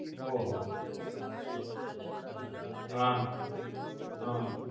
ઓહો. હાં. હાં.